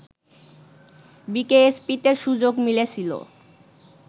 বিকেএসপিতে সুযোগ মিলেছিল